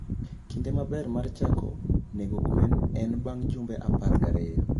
Kinde maber mar chako nego gwen en bang' jumbe apar gariyo.